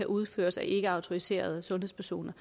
udføres af ikkeautoriserede sundhedspersoner